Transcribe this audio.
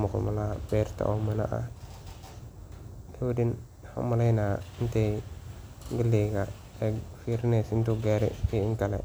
waxaa umaleydaa inay firieeso galleyda inay karte